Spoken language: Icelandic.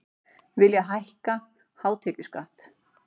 Vilja hækka hátekjuskatt